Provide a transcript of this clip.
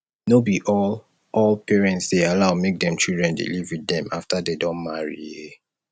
no be all all parents dey allow make dem children dey live with dem after dey don marry um